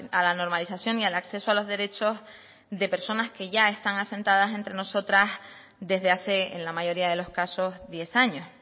a la normalización y al acceso a los derechos de personas que ya están asentadas entre nosotras desde hace en la mayoría de los casos diez años